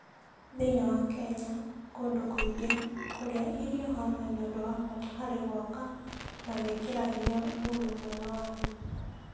Thĩinĩ wa Kenya kũndũ kũingĩ, kũrĩa irio hamwe nĩ ũndũ wa bata harĩ gwaka na gwĩkĩra hinya ũrũmwe wa andũ.